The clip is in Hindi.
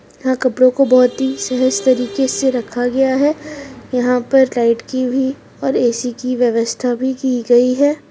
यहा कपड़े को बहुत ही सहज तरीके से रखा गया है यहां पर लाइट की भी और ए_सी की व्यवस्था भी की गयी है।